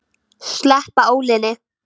Sleppa ólinni.